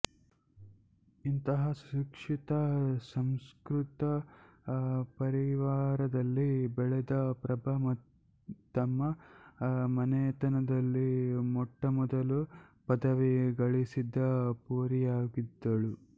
ಇಂತಹ ಸುಶಿಕ್ಷಿತ ಸುಸಂಸ್ಕೃತ ಪರಿವಾರದಲ್ಲಿ ಬೆಳೆದ ಪ್ರಭಾ ತಮ್ಮ ಮನೆತನದಲ್ಲಿ ಮೊಟ್ಟಮೊದಲು ಪದವಿ ಗಳಿಸಿದ ಪೋರಿಯಾಗಿದ್ದಳು